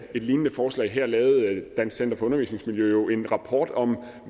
et lignende forslag så lavede dansk center for undervisningsmiljø jo en rapport om